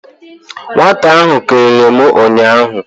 Nwata ahụ kelere m ụnyaahụ.